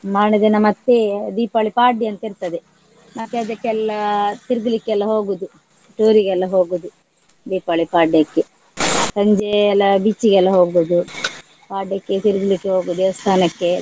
ಮಾರನೆದಿನ ಮತ್ತೆ ದೀಪಾವಳಿ ಪಾಡ್ಯ ಅಂತ ಇರ್ತದೆ ಮತ್ತೆ ಅದಕ್ಕೆಲ್ಲ ತಿರ್ಗ್ಲಿಕ್ಕೆಲ್ಲ ಹೋಗುದು tour ರಿಗೆಲ್ಲ ಹೋಗುದು ದೀಪಾವಳಿ ಪಾಡ್ಯಕ್ಕೆ. ಸಂಜೆ ಎಲ್ಲ beach ಗೆಲ್ಲ ಹೋಗುದು ಪಾಡ್ಯಕ್ಕೆ ತಿರ್ಗ್ಲಿಕ್ಕೆ ಹೋಗುದು ದೇವಸ್ತಾನಕ್ಕೆ.